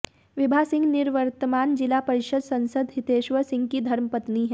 विभा सिंह निवर्तमान जिला परिषद सदस्य हितेश्वर सिंह की धर्मपत्नी हैं